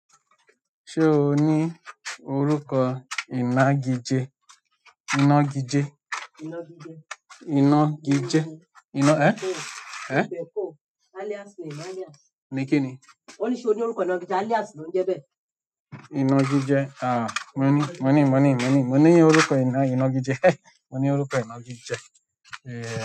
Ṣé o ní orúkọ ìnagije? Ìnagijẹ. Ìnagijẹ. Ìnagijẹ. Ẹn ẹ̀n. Alias name, alias. Ni kíni? Ó ní ṣe ó ní orúkọ inagije? Alias ló ń jẹ bẹ́ẹ̀. Ìnagijẹ, mo ní moni moni moni, mo ní orúkọ ìnagijẹ. Mo ní orúkọ inagije. Yeah.